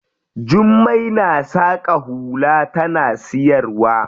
Jummai na saƙa hula tana siyarwa.